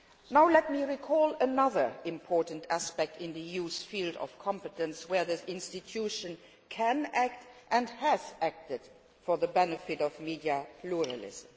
Now let me recall another important aspect in the EU's field of competence where this institution can act and has acted for the benefit of media pluralism.